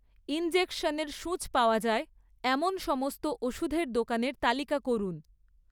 ইনজেকশনের সূঁচ পাওয়া যায় এমন সমস্ত ওষুধের দোকানের তালিকা করুন